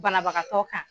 Banabagatɔ kan